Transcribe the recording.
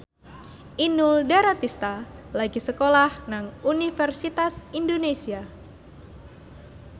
Inul Daratista lagi sekolah nang Universitas Indonesia